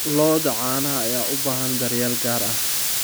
Lo'da caanaha ayaa u baahan daryeel gaar ah.